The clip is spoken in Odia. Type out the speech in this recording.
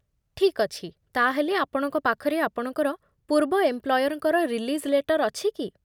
ଠିକ୍ ଅଛି, ତା'ହେଲେ ଆପଣଙ୍କ ପାଖରେ ଆପଣଙ୍କର ପୂର୍ବ ଏମ୍ପ୍ଲୟର୍‌ଙ୍କର ରିଲିଜ୍ ଲେଟର୍ ଅଛି କି?